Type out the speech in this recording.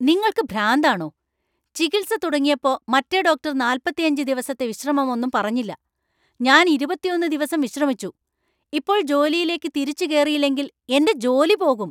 നിങ്ങൾക്ക് ഭ്രാന്താണോ? ചികിൽസ തുടങ്ങിയപ്പോ മറ്റേ ഡോക്ടർ നാൽപ്പത്തിയഞ്ച് ദിവസത്തെ വിശ്രമമൊന്നും പറഞ്ഞില്ല . ഞാൻ ഇരുപത്തിയൊന്ന് ദിവസം വിശ്രമിച്ചു, ഇപ്പോൾ ജോലിയിലേക്ക് തിരിച്ചു കേറിയില്ലെങ്കിൽ എന്‍റെ ജോലി പോകും .